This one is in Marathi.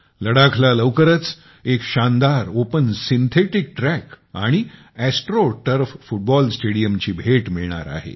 लडाखला लवकरच एक शानदार ओपन सिंथेटिक ट्रॅक आणि ऍस्ट्रो टर्फ फुटबॉल स्टेडियमची भेट मिळणार आहे